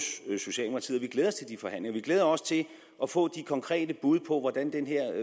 vi glæder os til de forhandlinger vi glæder os til at få de konkrete bud på hvordan den her